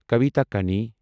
کویتا کَین